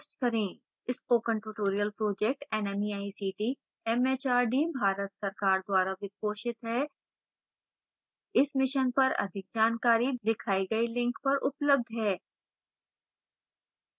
spoken tutorial project nmeict mhrd Bharat सरकार द्वारा वित्त पोषित है इस mission पर अधिक जानकारी दिखाई गई link पर उपलब्ध है